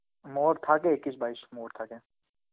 Hindi থাকে Hindi বাইশ Hindi থাকে.